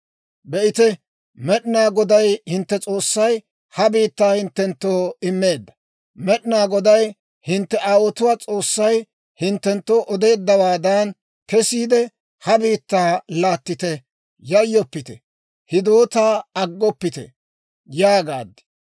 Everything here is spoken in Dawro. Be'ite, Med'inaa Goday hintte S'oossay ha biittaa hinttenttoo immeedda. Med'inaa Goday hintte aawotuwaa S'oossay hinttenttoo odeeddawaadan kesiide, ha biittaa laattite; yayyoppite; hidootaa aggoppite› yaagaad.